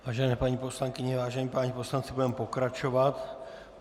Vážené paní poslankyně, vážení páni poslanci, budeme pokračovat.